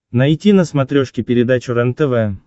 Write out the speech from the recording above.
найти на смотрешке передачу рентв